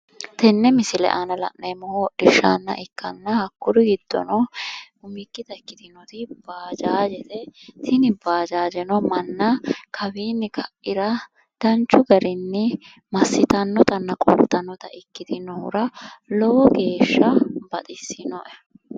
Tenne misile aana la'neemmohu hodhishsha ikkanna hakkuri giddono umikkita ikkitinoti baajaajete, tini baajaajeno manna kawiinni kaira danchu garinni massitannotanna qoltannota ikkitinnohura lowo geeshsha baxissinoe.